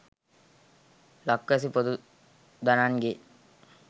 ලක්වැසි පොදු දනන්ගේ